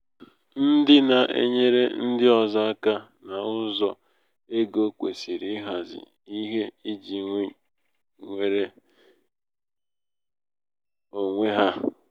ndị na-enyere ndị ọzọ aka n'ụzọ ego kwesịrị ịhazi ihe iji nwere iji nwere onwe ha.